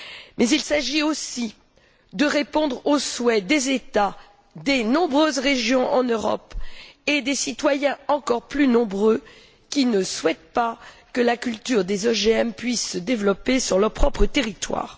Mais il s'agit aussi de répondre aux souhaits des États, des nombreuses régions en Europe et des citoyens, encore plus nombreux, qui ne souhaitent pas que la culture des OGM puisse se développer sur leur propre territoire.